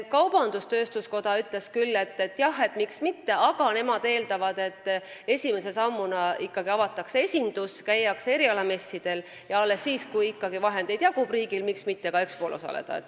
Kaubandus-tööstuskoda ütles küll, et jah, miks mitte, aga nemad eeldavad, et esimese sammuna avatakse ikkagi esindus, käiakse erialamessidel ja alles siis, kui riigil veel raha jagub, võiks ka Expol osaleda.